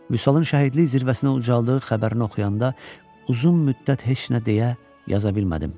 Vüsalın şəhidlik zirvəsinə ucaldığı xəbərini oxuyanda uzun müddət heç nə deyə, yaza bilmədim.